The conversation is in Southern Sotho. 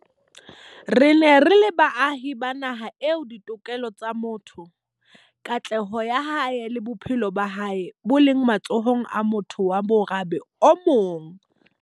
Re ne re le baahi ba naha eo ditokelo tsa motho, katleho ya hae le bophelo ba hae bo leng matsohong a motho wa morabe o mong.